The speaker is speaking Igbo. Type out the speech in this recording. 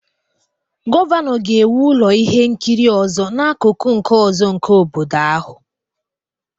Gọvanọ ga-ewu ụlọ ihe nkiri ọzọ n'akụkụ nke ọzọ nke obodo ahụ